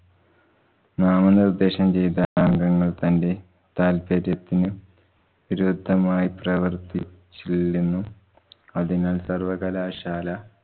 നാമ നിര്‍ദ്ദേശം ചെയ്ത അംഗങ്ങള്‍ തന്‍ടെ താല്‍പര്യത്തിനു വിരുദ്ധമായി പ്രവര്‍ത്തിച്ചില്ലെന്നും അതിനാല്‍ സര്‍വ്വകലാശാല